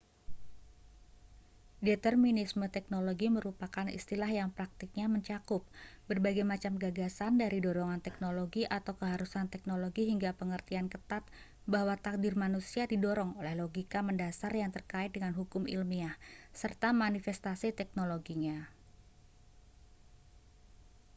determinisme teknologi merupakan istilah yang praktiknya mencakup berbagai macam gagasan dari dorongan teknologi atau keharusan teknologi hingga pengertian ketat bahwa takdir manusia didorong oleh logika mendasar yang terkait dengan hukum ilmiah serta manifestasi teknologinya